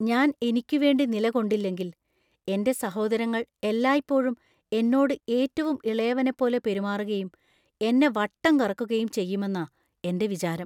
ഞാൻ എനിക്കുവേണ്ടി നിലകൊണ്ടില്ലെങ്കിൽ, എന്‍റെ സഹോദരങ്ങൾ എല്ലായ്പ്പോഴും എന്നോട് ഏറ്റവും ഇളയവനെപ്പോലെ പെരുമാറുകയും എന്നെ വട്ടം കറക്കുകയും ചെയ്യുമെന്നാ എന്‍റെ വിചാരം.